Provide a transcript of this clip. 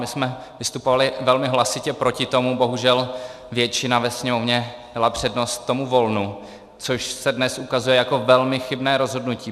My jsme vystupovali velmi hlasitě proti tomu, bohužel většina ve Sněmovně dala přednost tomu volnu, což se dnes ukazuje jako velmi chybné rozhodnutí.